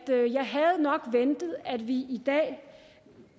nok havde ventet at vi i dag